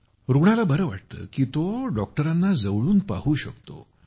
रुग्णाला बरे वाटते कारण तो डॉक्टरांना जवळून पाहू शकतो